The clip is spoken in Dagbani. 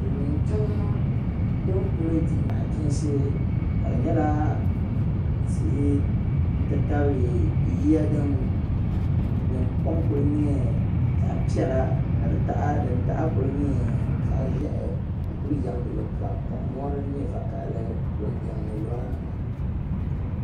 Silimiintiŋ din kuli dihi naɣi chinsi ka di nyɛla tihi n ti tabili yiya din kom kuli nyɛ zaɣi pɛla ni di taha, din taha kuli nyɛ zaɣi ʒɛhi n kuli yam luɣili kam ka mɔri din nyɛ vakahili gba kuli yam luɣili kam.